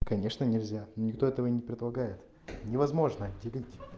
конечно нельзя но никто этого не предлагает невозможно делить